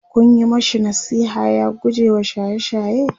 Kun Yi mashi nasiha ya gujewa shaye shaye?